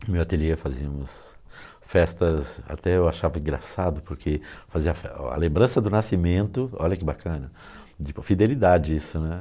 No meu ateliê fazíamos festas, até eu achava engraçado, porque fazia a lembrança do nascimento, olha que bacana, de fidelidade isso, né?